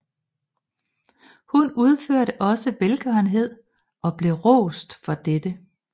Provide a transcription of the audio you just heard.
Hun udførte også velgørenhed og blev rost for dette